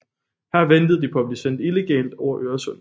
Her ventede de på at blive sendt illegalt over Øresund